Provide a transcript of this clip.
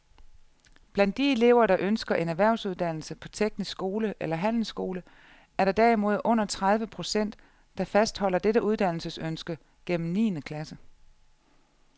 Blandt de elever, der ønsker en erhvervsuddannelse på teknisk skole eller handelsskole, er der derimod under tredive procent, der fastholder dette uddannelsesønske gennem niende klasse.